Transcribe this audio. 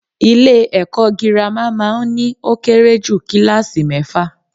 Ilé èko girama má a n ní ó kéré jù kíláàsi méfà